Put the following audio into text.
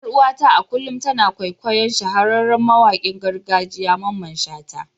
Yar uwata a kullum tana kwaikwayon shahararren mawakin gargajiya Mamman shata.